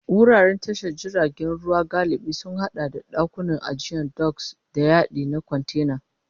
Wuraren tashar jiragen ruwa galibi sun haɗa da ɗakunan ajiya doks, da yadi na kwantena.